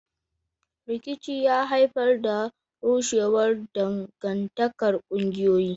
Rikici ya haifar da rushewar dangantakar ƙungiyoyi.